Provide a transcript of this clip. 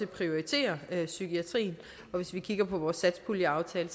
prioriterer psykiatrien og hvis vi kigger på vores satspuljeaftale